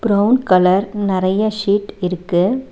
Brown colour நெறைய seat இருக்கு.